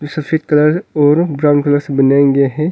सफेद कलर और ब्राउन से बनाया गया है।